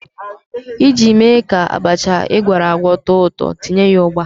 Iji mee ka abacha ị gwọrọ too ụtọ, tinye ya ugba.